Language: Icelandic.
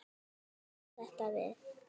Svo bættist þetta við.